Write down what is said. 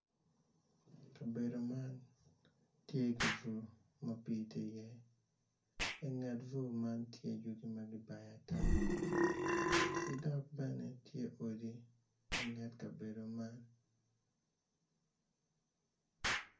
Kabedo man tye ki bur ma pii tye iye inget bur man tye yugi ma kibayo ata ki dok bene tye odi inget kabedo man.